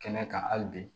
Kɛnɛ kan hali bi